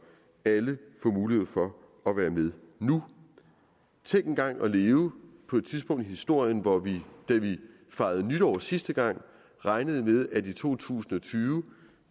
alle får mulighed for at være med nu tænk engang at leve på et tidspunkt i historien hvor vi da vi fejrede nytår sidste gang regnede med at vi i to tusind og tyve